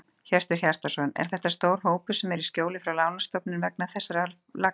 Hjörtur Hjartarson: Er þetta stór hópur sem er í skjóli frá lánastofnunum vegna þessara laga?